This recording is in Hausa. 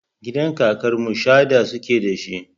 Gidan kakar mu shadda suke da shi.